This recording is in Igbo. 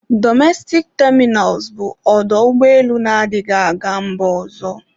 Dọmestik tamịnal bụ ọdọ ụgbọelu na-adighị aga mba ọzọ.